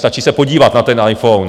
Stačí se podívat na ten iPhone.